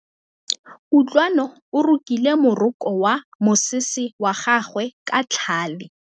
Kutlwanô o rokile morokô wa mosese wa gagwe ka tlhale.